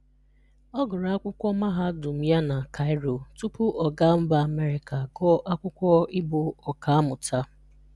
Ọ gụrụ akwụkwọ Mahadụm ya na Kaịro tupu ọ ga mba Amerịka gụọ akwụkwọ ị bụ ọkamụta.